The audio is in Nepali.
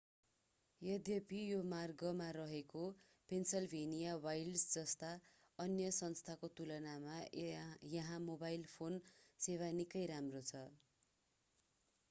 यद्यपि यो मार्गमा रहेका पेन्सिलभेनिया वाइल्ड्स् जस्ता अन्य स्थानको तुलनामा यहाँ मोबाइल फोन सेवा निकै राम्रो छ